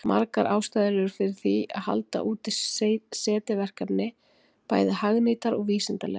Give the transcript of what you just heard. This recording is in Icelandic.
Margar ástæður eru fyrir því að halda úti SETI-verkefni, bæði hagnýtar og vísindalegar.